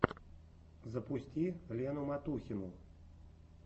запусти лену матухину